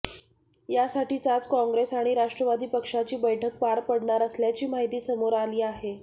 यासाठीच आज काँग्रेस आणि राष्ट्रवादी पक्षाची बैठक पार पडणार असल्याची माहिती समोर आली आहे